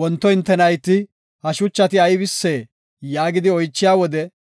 Wonto hinte nayti, ‘Ha shuchati aybisee?’ yaagidi oychiya wode,